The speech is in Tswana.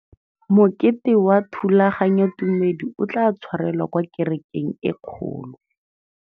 Mokete wa thulaganyôtumêdi o tla tshwarelwa kwa kerekeng e kgolo.